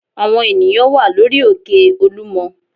Àwọn ènìyàn wà lórí òkè Olúmọ